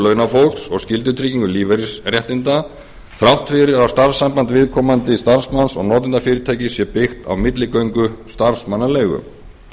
launafólks og skyldutryggingu lífeyrisréttinda þrátt fyrir að starfssamband viðkomandi starfsmanns og notendafyrirtækis sé byggt á milligöngu starfsmannaleigu